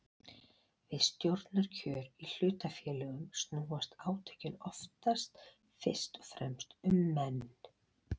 Við stjórnarkjör í hlutafélögum snúast átökin oftast fyrst og fremst um menn.